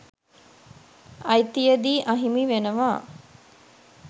අ‍යි‍ති‍ය‍දී ‍අ‍හි‍මි ‍වෙ‍න‍වා